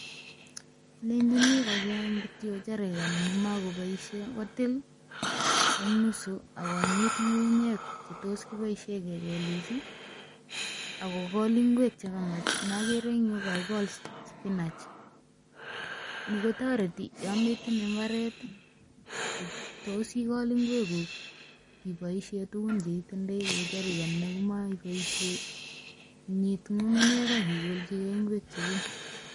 Alenchini kocheng kityo jerican nemokoboisie kotil en nusu ak konyit ng'ung'unyek che tos kiboisie kegolis ak kogol ingwek che kamach ne ogere en yu kagikol spinach. Ni kotoreti yon metinye mbaret, tos igol ngweguk iboisien tugun che itindoi kou jerican nemokoboisie inyit ng'ung'unyek ak igolchi ge ingwek cheguk.